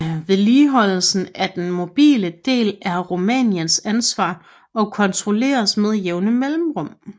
Vedligeholdelsen af den mobile del er Rumæniens ansvar og kontrolleres med jævne mellemrum